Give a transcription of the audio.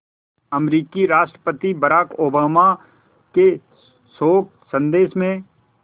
अमरीकी राष्ट्रपति Barack Obama के शोक संदेश में